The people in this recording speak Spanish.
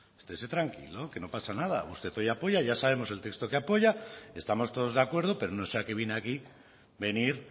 estese tranquilo que no pasa nada usted hoy apoya ya sabemos el texto que apoya estamos todos de acuerdo pero no sé a qué viene aquí venir